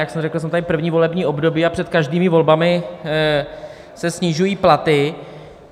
Jak jsem řekl, jsem tady první volební období, a před každými volbami se snižují platy.